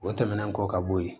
O tɛmɛnen kɔ ka bɔ yen